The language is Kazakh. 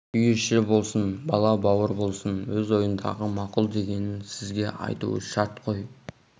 үй іші болсын бала-бауыр болсын өз ойындағы мақұл дегенін сізге айтуы шарт қой